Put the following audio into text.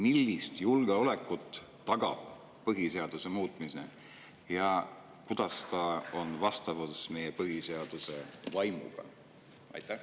Millist julgeolekut tagab põhiseaduse muutmine ja kuidas on see vastavuses meie põhiseaduse vaimuga?